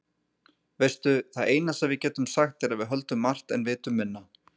Veistu, það eina sem við getum sagt er að við höldum margt en vitum minna.